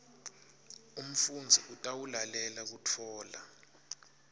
umfundzi utawulalela kutfola